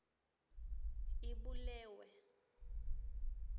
ibulewe